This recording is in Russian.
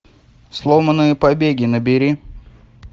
сломанные побеги набери